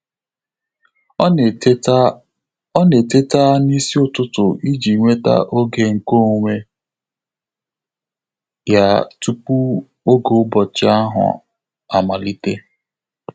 Ọ́ nà-étètá Ọ́ nà-étètá n’ísí ụ́tụ́tụ̀ ìjí nwètá ògé nké ónwé yá túpù ògé ụ́bọ̀chị̀ áhụ́ àmàlị̀tè.